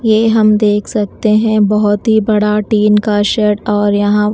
ये हम देख सकते हैं बहुत ही बड़ा टीन का शेड और यहां--